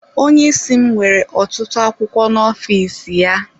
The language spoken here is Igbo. Onye isi m nwere ọtụtụ akwụkwọ n'ọfịs ya.